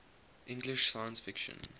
english science fiction